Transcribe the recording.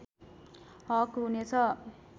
हक हुने छ